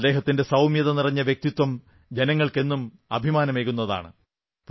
അദ്ദേഹത്തിന്റെ സൌമ്യത നിറഞ്ഞ വ്യക്തിത്വം ജനങ്ങൾക്ക് എന്നും അഭിമാനമേകുന്നതാണ്